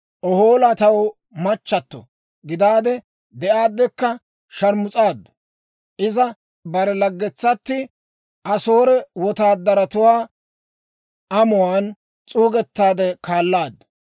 «Ohoola taw machchato gidaade de'aadekka sharmus'aaddu; iza bare laggetsati Asoore wotaadaratuwaa amuwaan s'uugettaade kaalaaddu.